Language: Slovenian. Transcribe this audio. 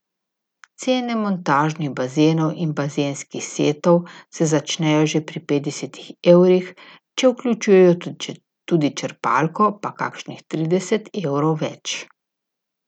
Cene montažnih bazenov in bazenskih setov se začnejo že pri petdesetih evrih, če vključujejo tudi črpalko, pa kakšnih trideset evrov več.